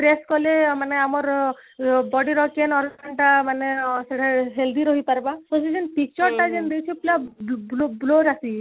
press କଲେ ମାନେ ଆମର ଆଁ body ର କେନ organ ଟା ମାନେ ଆଁ ସେରେ healthy ରହି ପାରବା picture ଟା ଯେମିତି ଦେଇଛି ପୁରା blur blur ଆସି ଯାଇଛି